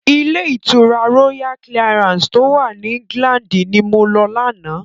Ilé ìtura Royal Clarance tó wà ní England ni mo lọ lánáà.